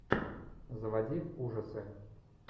заводи ужасы